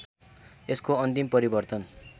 यसको अन्तिम परिवर्तन